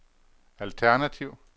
alternativ